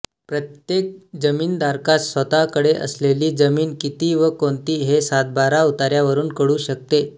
प्रत्येक जमीनधारकास स्वतःकडे असलेली जमीन किती व कोणती हे सातबारा उताऱ्यावरून कळू शकते